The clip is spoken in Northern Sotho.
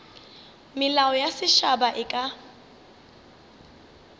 melao ya setšhaba e ka